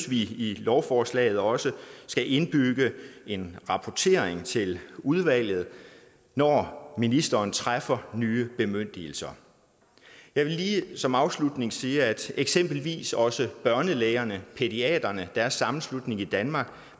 vi i lovforslaget også skal indbygge en rapportering til udvalget når ministeren træffer nye bemyndigelser jeg vil lige som afslutning sige at eksempelvis også børnelægerne pædiaterne deres sammenslutning i danmark